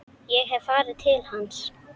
Ég hef farið til hans.